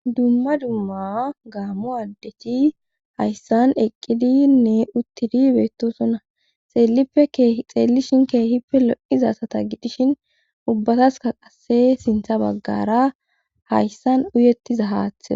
Dumma dumma gaammu addethi hayssan eqqidinne uttidi beettosuna xeellippe kxeellishin keehippe lo'izasata gidishin ubbataska qasse sintha baggara hayssan uyettiza haathe.